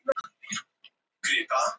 Lauslega má áætla að í sjónum séu